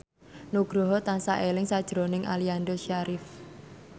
Nugroho tansah eling sakjroning Aliando Syarif